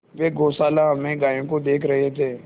वे गौशाला में गायों को देख रहे थे